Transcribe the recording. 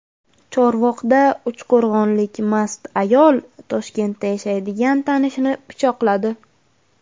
Chorvoqda uchqo‘rg‘onlik mast ayol Toshkentda yashaydigan tanishini pichoqladi.